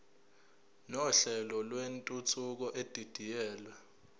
nohlelo lwentuthuko edidiyelwe